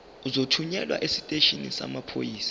uzothunyelwa esiteshini samaphoyisa